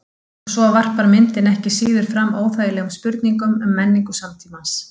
Og svo varpar myndin ekki síður fram óþægilegum spurningum um menningu samtímans.